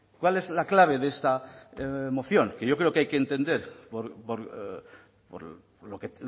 cuál es la clave de esta moción que yo creo que hay que entender por lo que